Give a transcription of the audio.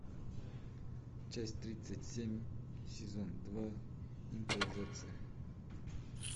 часть тридцать семь сезон два импровизация